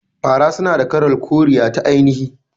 Fara suna da kalar koriya ta ainihi.